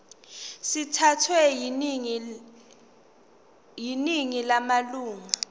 sithathwe yiningi lamalunga